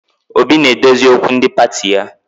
Obi na-edozi okwu ndi pati ya